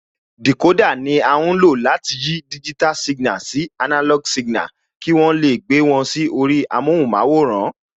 Dìkódà ni à ń lò láti yí digital signal sí analog signal, kí wọ́n lè gbé wọn sí orí amóhunmáwòrán